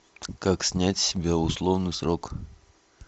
как снять с себя условный срок